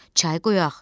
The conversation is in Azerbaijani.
Çay qoyaq,